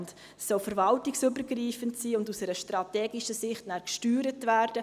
Dieses soll verwaltungsübergreifend sein und nachher aus einer strategischen Sicht gesteuert werden.